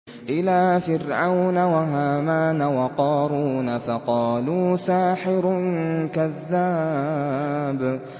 إِلَىٰ فِرْعَوْنَ وَهَامَانَ وَقَارُونَ فَقَالُوا سَاحِرٌ كَذَّابٌ